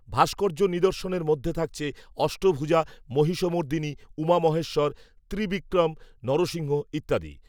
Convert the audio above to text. ভাস্কর্য নিদর্শনের মধ্যে থাকছে, অষ্টভুজা, মহিষমর্দিনী, উমা মহেশ্বর ত্রিবিক্রম, নরসিংহ, ইত্যাদি